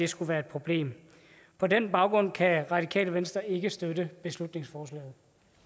skulle være et problem på den baggrund kan radikale venstre ikke støtte beslutningsforslaget